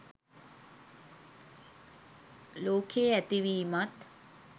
ලෝකයේ ඇති වීමත්